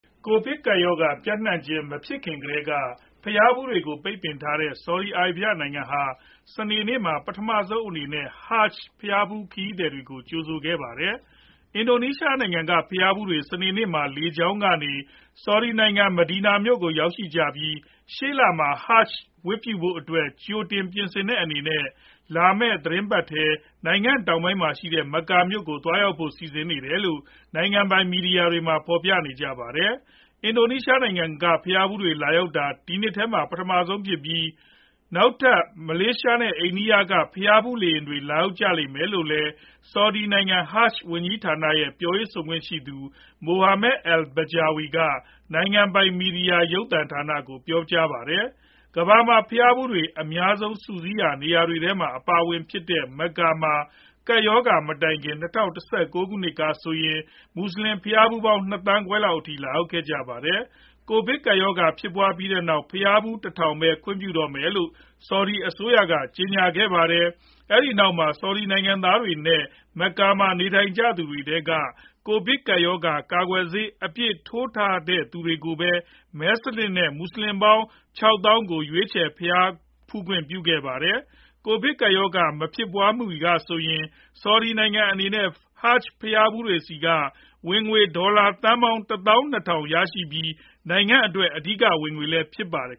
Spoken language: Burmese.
ကိုဗစ်ကပ်ရောဂါ ပျံ့နှံခြင်းမဖြစ်ခင်ကတည်းက ဘုရားဖူးတွေကို ပိတ်ပင်ထားခဲ့တဲ့ Saudi Arabian နိုင်ငံဟာ စနေနေ့မှာ ပထမဆုံးအနေနဲ့ Hajj ဘုရားဖူး ခရီးသည်တွေကို ကြိုဆိုခဲ့ကြပါတယ်။ အင်ဒိုနီးရှားနိုင်ငံက ဘုရားဖူးတွေ စနေနေ့မှာ လေကြောင်းကနေ Saudi နိုင်ငံ Medina မြို့ကို ရောက်ရှိခဲ့ကြပြီး ရှေ့လမှာ Hajj ဝတ်ပြုဖို့အတွက် ကြိုတင်ပြင်ဆင်တဲ့အနေနဲ့ လာမယ့် သီတင်းပတ်ထဲ နိုင်ငံတောင်ဖက်မှာရှိတဲ့ Mecca မြို့ ကို သွားရောက်ဖို့ စီစဉ်ထားတယ်လို့ နိုင်ငံပိုင် မီဒီယာတွေမှာ ဖော်ပြကြပါတယ်။ အင်ဒိုနီးရှားနိုင်ငံက ဘုရားဖူးတွေ ရောက်လာတာ ဒီနှစ်ထဲမှာ ပထမဆုံးဖြစ်ပြီး၊ နောက်ထပ် မလေးရှား နဲ့ အိန္ဒိယက ဘုရားဖူးလေယာဉ်တွေ လာရောက်ကြပါလိမ့်မယ် လို့လည်း Saudi နိုင်ငံ Hajj ဝန်ကြီးဌာန ရဲ့ ပြောရေးဆိုခွင့်ရှိသူ Mohammed al-Bijawi က နိုင်ငံပိုင် မီဒီယာ Al-Ekhbariya ရုပ်သံသတင်းဌာနကို ပြောပါတယ်။ ကမ္ဘာမှာ ဘုရားဖူးတွေ အများဆုံး စုစည်းရာနေရာတွေထဲမှာ အပါအဝင်ဖြစ်တဲ့ Mecca မှာ ကပ်ရောဂါ မတိုင်ခင်၂ဝ၁၉ ခုနှစ်ကဆိုရင် မွတ်ဆလင်ဘုရားဖူးပေါင်း ၂ သန်းခွဲလောက်အထိ လာရောက်ခဲ့ကြတာပါ။ ကိုဗစ်ကပ်ရောဂါဖြစ်ပွားခဲ့ပြီးနောက် ဘုရားဖူး တထောင်ပဲ ခွင့်ပြုတော့မယ်လို့ Saudi အစိုးက ကြေညာခဲ့ပါတယ်။ အဲဒီနောက် Saudi နိုင်ငံသားတွေနဲ့ Macca မှာ နေထိုင်ကြတဲ့သူတွေထဲက ကိုဗစ်ကပ်ရောဂါ ကာကွယ်ဆေးအပြည့် ထိုးထားတဲ့သူတွေကိုပဲ မဲစနစ်နဲ့ မွတ်ဆလင်ပေါင်း ၆ သောင်းကို ရွေးချယ် ဘုရားဖူးခွင့်ပြုခဲ့ပါတယ်။ ကိုဗစ်ကပ်ရောဂါ မဖြစ်ပွားခင်ကဆိုရင် Saudi နိုင်ငံအနေနဲ့ Hajj ဘုရားဖူးတွေဆီကနေ ဝင်ငွေ ဒေါ်လာသန်းပေါင်း ၁ သောင်း ၂ ထောင် ရရှိပြီး နိုင်ငံအတွက် အဓိကဝင်ငွေလည်းဖြစ်ပါတယ်